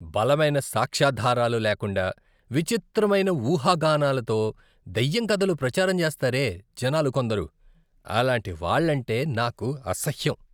బలమైన సాక్ష్యాధారాలు లేకుండా విచిత్రమైన ఊహాగానాలతో దయ్యం కథలు ప్రచారం చేస్తారే జనాలు కొందరు. అలాంటివాళ్ళంటే నాకు అసహ్యం.